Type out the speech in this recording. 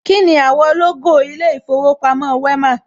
Kíni àwọ̀ lógò ilé ìfowópamọ́ Wema?